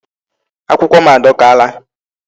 Akwukwo m adọkaala.